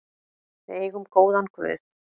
Við eigum góðan guð.